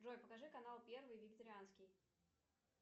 джой покажи канал первый вегетарианский